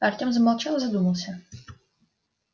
артём замолчал и задумался